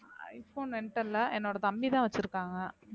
iphone என்ட இல்ல என்னோட தம்பிதான் வச்சிருக்காங்க